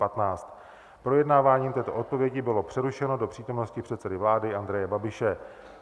Projednávání této odpovědi bylo přerušeno do přítomnosti předsedy vlády Andreje Babiše.